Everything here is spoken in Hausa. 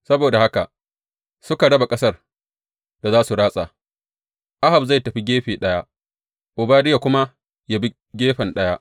Saboda haka suka raba ƙasar da za su ratsa, Ahab zai tafi gefe ɗaya, Obadiya kuma yă bi gefe ɗaya.